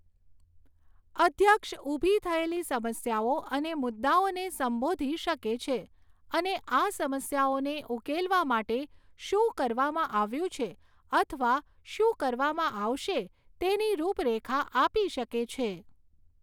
અધ્યક્ષ ઊભી થયેલી સમસ્યાઓ અને મુદ્દાઓને સંબોધી શકે છે અને આ સમસ્યાઓને ઉકેલવા માટે શું કરવામાં આવ્યું છે અથવા શું કરવામાં આવશે તેની રૂપરેખા આપી શકે છે.